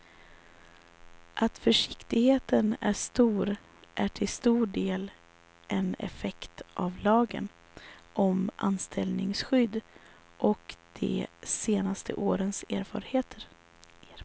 Att försiktigheten är så stor är till stor del en effekt av lagen om anställningsskydd och de senaste årens erfarenheter.